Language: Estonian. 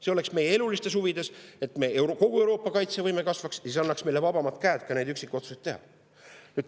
See oleks meie elulistes huvides, et kogu Euroopa kaitsevõime kasvaks, see annaks meile vabamad käed ka neid üksikotsuseid teha.